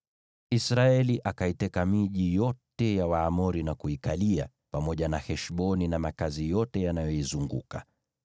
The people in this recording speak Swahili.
Israeli akaiteka miji yote ya Waamori na kuikalia, pamoja na Heshboni na makazi yote yanayoizunguka.